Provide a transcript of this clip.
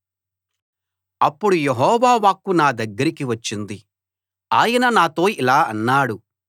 అప్పుడు యెహోవా వాక్కు నా దగ్గరకి వచ్చింది ఆయన నాతో ఇలా అన్నాడు